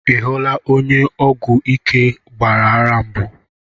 I hụla onye ọgwụ ike gbara ara mbụ?